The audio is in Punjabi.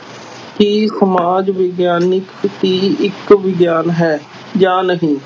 ਕੀ ਸਮਾਜ ਵਿਗਿਆਨਕ ਕੀ ਇੱਕ ਵਿਗਿਆਨ ਹੈ ਜਾਂ ਨਹੀਂ।